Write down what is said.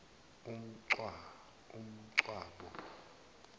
uncwabo